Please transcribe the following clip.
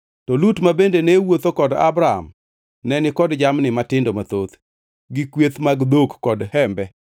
To Lut ma bende ne wuotho kod Abram neni kod jamni matindo mathoth, gi kweth mag dhok kod hembe.